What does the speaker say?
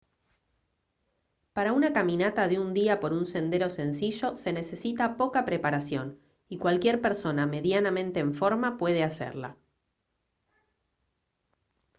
para una caminata de un día por un sendero sencillo se necesita poca preparación y cualquier persona medianamente en forma puede hacerla